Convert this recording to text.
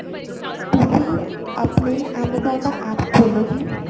ਤੁਸੀਂ ਆਪਣੇ amazon ਦਾ APP ਖੋਲੋ ਜੀ